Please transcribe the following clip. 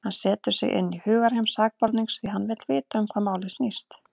Hann setur sig inn í hugarheim sakborningsins, því hann vill vita um hvað málið snýst.